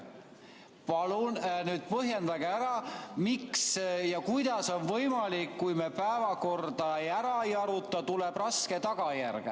Palun põhjendage ära, miks ja kuidas on võimalik, et kui me päevakorda ära ei aruta, tuleb raske tagajärg.